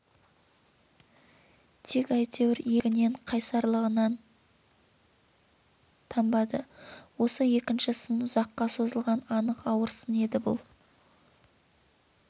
тек әйтеуір ел бірлігінен қайсарлығынан танбады осы екінші сын ұзаққа созылған анық ауыр сын еді бұл